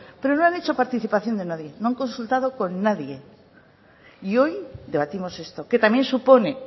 pero no han hecho participación de nadie no han consultado con nadie y hoy debatimos esto que también supone